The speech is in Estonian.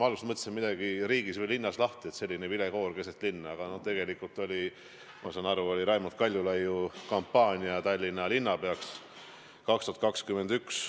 Ma alguses mõtlesin, et midagi on riigis või linnas lahti – selline vilekoor keset linna, aga tegelikult oli, ma saan aru, Raimond Kaljulaiu kampaania saada Tallinna linnapeaks 2021.